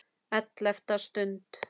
ELLEFTA STUND